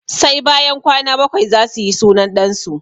Sai bayan kwana bakwai zasu yi sunan ɗan su